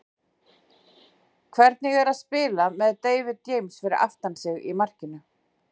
Hvernig er að spila með David James fyrir aftan sig í markinu?